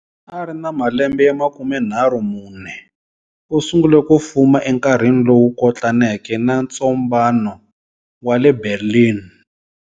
A ri na ma lembe ya makumenharhu mune,34, u sungule ku fuma e nkarhini lowu kotlaneke na ntsombano wa le Berlin.